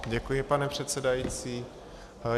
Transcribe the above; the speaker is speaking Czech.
Děkuji, pane předsedající.